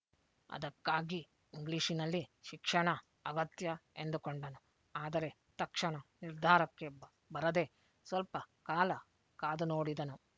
ಅದಕ್ಕಾಗಿ ಇಂಗ್ಲೀಷ್ನಲ್ಲಿ ಶಿಕ್ಷಣ ಅಗತ್ಯ ಎಂದುಕೊಂಡನು ಆದರೆ ತಕ್ಷಣ ನಿರ್ಧಾರಕ್ಕೆ ಬರದೆ ಸ್ವಲ್ಪ ಕಾಲ ಕಾದುನೋಡಿದನು